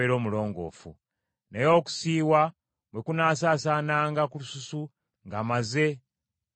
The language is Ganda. Naye okusiiwa bwe kunaasaasaananga ku lususu ng’amaze okulongooka,